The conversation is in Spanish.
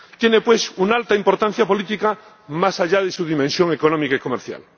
Tiene, pues, una alta importancia política, más allá de su dimensión económica y comercial.